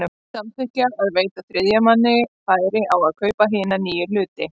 samþykkja að veita þriðja manni færi á að kaupa hina nýju hluti.